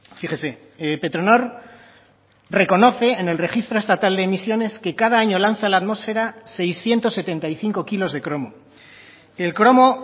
fíjese petronor reconoce en el registro estatal de emisiones que cada año lanza a la atmosfera seiscientos setenta y cinco kilos de cromo el cromo